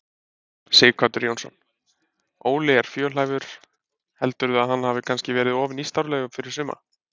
Sighvatur Jónsson: Óli er fjölhæfur, heldurðu að hann hafi kannski verið of nýstárlegur fyrir suma?